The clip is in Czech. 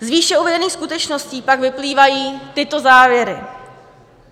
Z výše uvedených skutečností pak vyplývají tyto závěry.